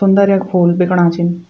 सुन्दर यख फूल बिकणा छीन।